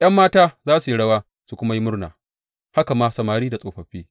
’Yan mata za su yi rawa su kuma yi murna, haka ma samari da tsofaffi.